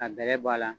Ka bɛrɛ bɔ a la